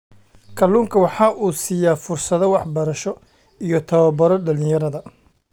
Kalluunku waxa uu siiyaa fursado waxbarasho iyo tababaro dhalinyarada.